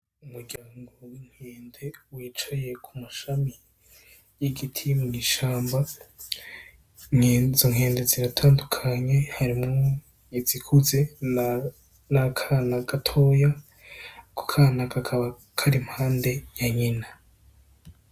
Umuryango w'inkende wicaye ku mashami y'igiti mwishamba, izo nkende ziratandukanye harimwo izikuze n'akana gatoya, ako kana kakaba kari impande ya nyina.